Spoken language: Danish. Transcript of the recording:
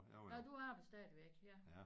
Nåh du arbejder stadigvæk ja